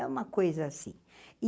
É uma coisa assim.